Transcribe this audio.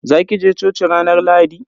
Za ki je coci ranar Lahadi?